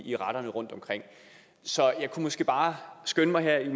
i retterne rundtomkring så jeg kunne måske bare skynde mig her